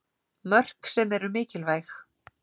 Mörk sem eru mikilvæg.